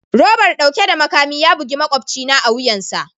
Robar dauke da makami ya bugi makwabcina a wuyansa